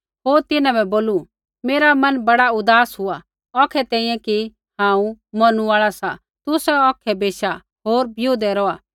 होर तिन्हां बै बोलू मेरा मन बड़ा उदास हुआ सा औखै तैंईंयैं कि हांऊँ मौरनु आल़ा सा तुसै औखै बेशा होर बिऊदै रौहा